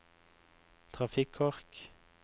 trafikkork